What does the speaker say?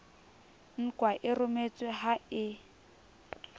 nkwa e rometswe ha e